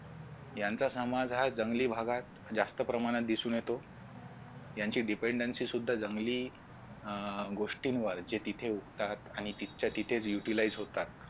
यांचा समाज हा जंगली भागात जास्त प्रमाणात दिसून येतो. यांची dependancy सुद्धा जंगली अह गोष्टीं जे तिथे उठतात आणि तिथंच्या तिथेच Utilize होतात